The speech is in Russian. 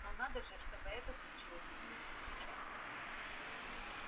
но надо же чтобы это случилось именно сейчас